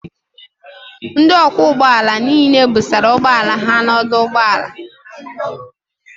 Ndị ọkwọ ụgbọ ala niile busara ụgbọala ha n'ọdụ ụgbọ ala